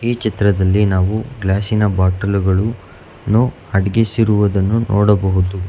ಈ ಚಿತ್ರದಲ್ಲಿ ನಾವು ಗ್ಲಾಸಿನ ಬಾಟಲುಗಳು ನ್ನು ಅಡಗಿಸಿರುವುದನ್ನು ನೋಡಬಹುದು.